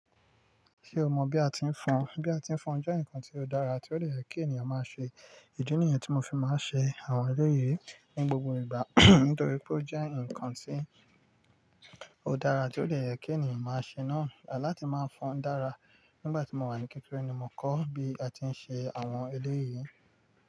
Ṣé o mọ̀ bí a ti ń fọn? Bí a ti ń fọn jẹ́ ǹkan tí ó dára tí ó lè yẹ kí ènìyàn má ṣe. Ìdí nìyẹn tí mo fi má ń ṣe àwọn eléyìí ní gbogbo ìgbà nítorí pé ó jẹ́ ǹkan tí ó dára tí ó dẹ̀ yẹ kí ènìyàn má ṣe náà. Latí má fọn dára nígbàtí mó wà ní kékeré ni mó kọ bí a tí n ṣe àwọn eléyìí.